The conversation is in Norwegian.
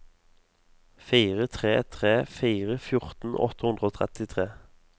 fire tre tre fire fjorten åtte hundre og trettitre